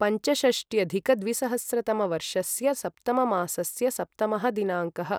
पञ्चषष्ट्यधिकद्विसहस्रतमवर्षस्य सप्तममासस्य सप्तमः दिनाङ्कः